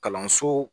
Kalanso